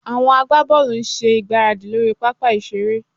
Àwọn agbábọ́ọ̀lù ń ṣe ìgbáradì lórí pápá ìṣeré